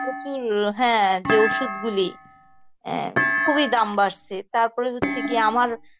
প্রচুর, হ্যাঁ যে অসুধ গুলি অ্যাঁ খুবই দাম বাড়ছে তারপর হচ্ছে গিয়ে আমার